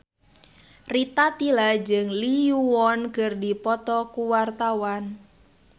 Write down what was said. Rita Tila jeung Lee Yo Won keur dipoto ku wartawan